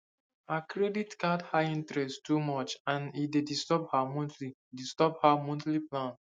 her credit card high interest too much and e dey disturb her monthly disturb her monthly plan